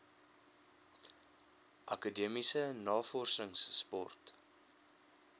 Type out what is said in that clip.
akademiese navorsings sport